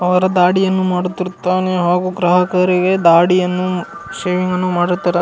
ಅವರ ದಾಡಿಯನ್ನು ಮಾಡುತ್ತಿರುತ್ತಾನೆ ಹಾಗು ಗ್ರಾಹಕರಿಗೆ ದಾಡಿಯನ್ನು ಶೇವಿಂಗ್ ಅನ್ನು ಮಾರುತ್ತಿರಾ --